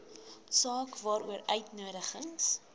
saak waaroor uitnodigings